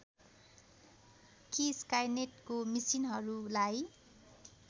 कि स्काइनेटको मिसिनहरूलाई